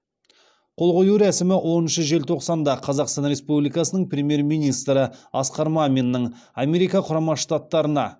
қол қою рәсімі оныншы желтоқсанда қазақстан республикасының премьер министрі асқар маминнің америка құрама штаттарына